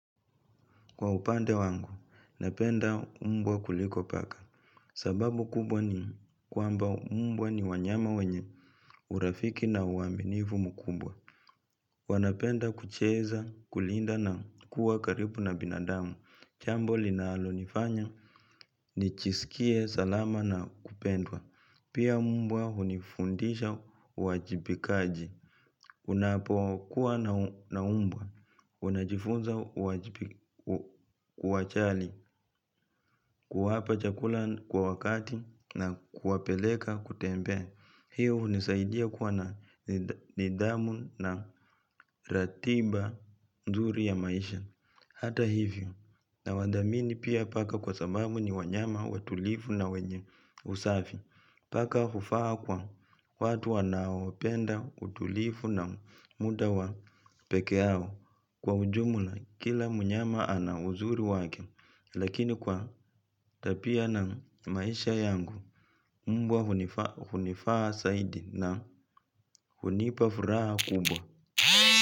Kwa upande wangu, napenda umbwa kuliko paka. Sababu kubwa ni kwamba umbwa ni wanyama wenye urafiki na uaminivu mkumbwa. Wanapenda kucheza, kulinda na kuwa karibu na binadamu, jambo linalonifanya, nijisikie, salama na kupendwa. Pia umbwa hunifundisha uwajibikaji unapokuwa na umbwa, unajifunza uachali kuwapa chakula kwa wakati na kuwapeleka kutembea. Pia hunisaidia kuwa na nidhamu na ratiba nzuri ya maisha hata hivyo, nawadhamini pia paka kwa sababu ni wanyama watulivu na wenye usafi. Paka hufaa kwa watu wanaopenda utulifu na muda wa peke yao. Kwa ujumla, kila mnyama ana uzuri wake. Lakini kwa tabia na maisha yangu mbwa hunifaa zaidi na hunipa furaha kubwa.